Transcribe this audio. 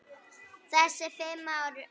Þessi fimm ár eru